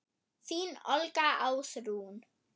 Þín Olga Ásrún.